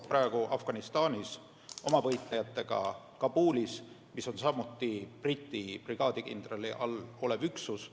Praegugi on meie võitlejad Kabulis, mis on samuti Briti brigaadikindralile alluv üksus.